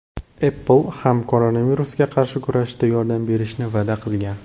Apple ham koronavirusga qarshi kurashishda yordam berishni va’da qilgan.